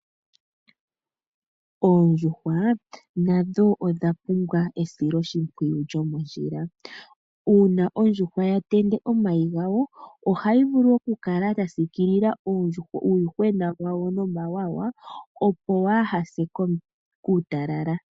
Oondjuhwa nadho odhapumbwa esilo shimpwiyu lomondjila una ondjuhwa yatende omayi gawo ohayi vulu okukala yasikilila uuyuhwena wawo nomawawa opo waase kuutalala.